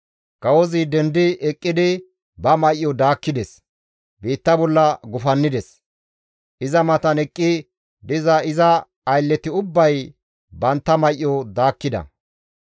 Kawozi dendi eqqidi ba may7o daakkides; biitta bolla gufannides; iza matan eqqi diza iza aylleti ubbay bantta may7o daakkida.